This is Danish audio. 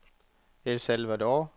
El Salvador